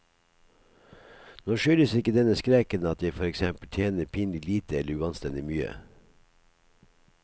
Nå skyldes ikke denne skrekken at jeg for eksempel tjener pinlig lite eller uanstendig mye.